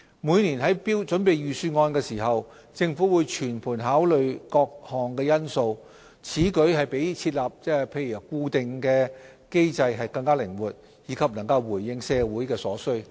每年於準備預算案時，政府會全盤考慮各項因素，此舉比設立固定機制更靈活，以及能回應社會所需。